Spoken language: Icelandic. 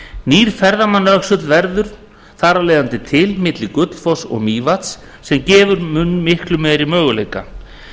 nýr ferðamannaöxull verður þar af leiðandi til milli gullfoss og mývatns sem gefa mun mikla möguleika